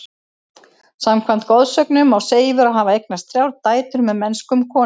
Samkvæmt goðsögunum á Seifur að hafa eignast þrjár dætur með mennskum konum.